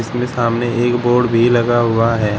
इसमें सामने एक बोर्ड भी लगा हुआ है।